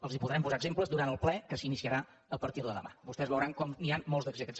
els en podrem posar exemples durant el ple que s’iniciarà a partir de demà vostès veuran com n’hi ha molts d’exemples